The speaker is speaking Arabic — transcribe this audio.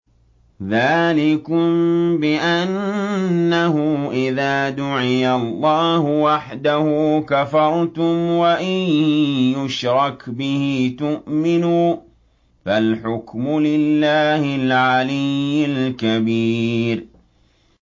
ذَٰلِكُم بِأَنَّهُ إِذَا دُعِيَ اللَّهُ وَحْدَهُ كَفَرْتُمْ ۖ وَإِن يُشْرَكْ بِهِ تُؤْمِنُوا ۚ فَالْحُكْمُ لِلَّهِ الْعَلِيِّ الْكَبِيرِ